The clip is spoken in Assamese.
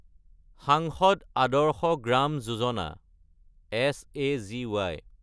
চাঞ্চদ আদৰ্শ গ্ৰাম যোজনা (ছাগী)